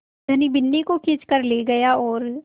धनी बिन्नी को खींच कर ले गया और